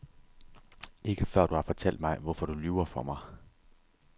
Ikke før du har fortalt mig, hvorfor du lyver for mig.